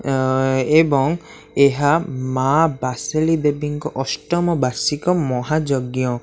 ଅ ଏବଂ ଏହା ମା ବାସେଳି ଦେବୀଙ୍କ ଅଷ୍ଟମ ବାର୍ଷିକ ମହାଯଜ୍ଞ।